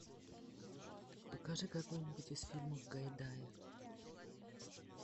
покажи какой нибудь из фильмов гайдая